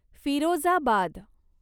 Firozabad